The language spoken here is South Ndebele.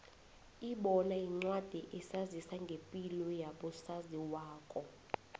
ibono yincwadi esazisa ngepilo yabo saziwayo